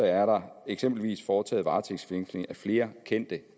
er der eksempelvis foretaget varetægtsfængsling af flere kendte